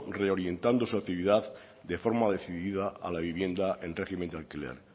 reorientando su actividad de forma decidida a la vivienda en régimen de alquiler